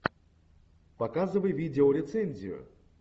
показывай видеорецензию